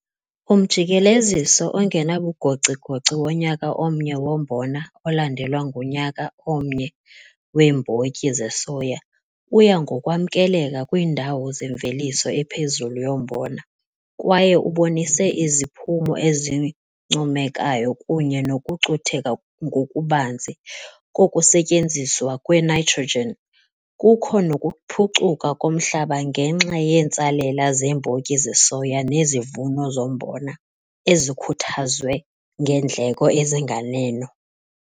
Umjikeleziso ongenabugocigoci wonyaka omnye wombona olandelwa ngunyaka omnye weembotyi zesoya uya ngokwamkeleka kwiindawo zemveliso ephezulu yombona kwaye ubonise iziphumo ezincomekayo kunye nokucutheka ngokubanzi kokusetyenziswa kwe-nitrogen, kukho nokuphucuka komhlaba ngenxa yeentsalela zeembotyi zesoya nezivuno zombona ezikhuthazwe ngeendleko ezinganeno.